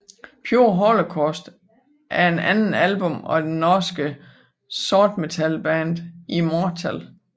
Pure Holocaust er det andet album af det norske sortmetalband Immortal